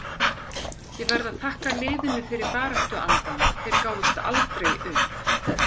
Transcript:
Ég verð að þakka liðinu fyrir baráttuandann, þeir gáfust aldrei upp.